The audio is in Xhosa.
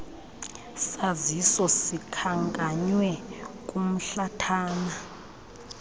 saziso sikhankanywe kumhlathana